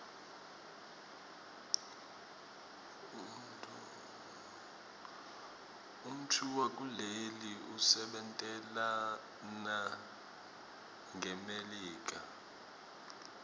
umntfowakuleli usebentelana ngmelika